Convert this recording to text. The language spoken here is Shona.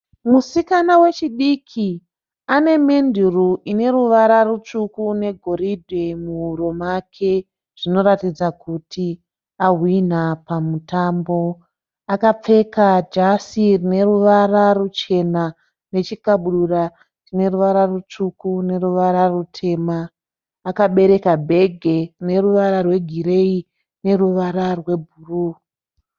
Musikana wechidiki ane menduru ine ruvara rutsvuku negoridhe muhuro make. Zvinoratidza kuti ahwina pamutambo. Akapfeka jasi rine ruvara ruchena nechikabudura chine ruvara rutsvuku neruvara rutema. Akabereka bhegi rine ruvara rwegireyi neruvara rwebhuruu.